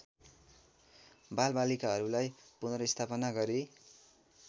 बालबालिकाहरूलाई पुनर्स्थापन गरी